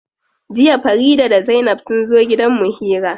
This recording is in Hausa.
Jiya Farida da zainab sunzo gidan mu hira.